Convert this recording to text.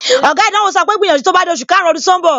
Oga ìdánwò sọ pé, gbìyànjú tó bá di oṣù karùn-ún ọdún tó ń bọ̀!